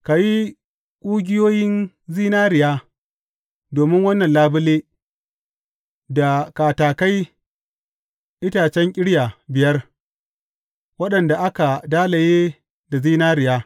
Ka yi ƙugiyoyin zinariya domin wannan labule da katakai itacen ƙirya biyar, waɗanda aka dalaye da zinariya.